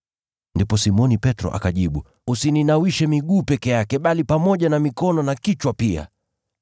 Ndipo Simoni Petro akajibu, “Usininawishe miguu peke yake, Bwana, bali pamoja na mikono na kichwa pia!”